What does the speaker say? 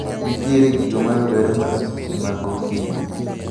Nitiere gigo mayudore mana seche magokinyi.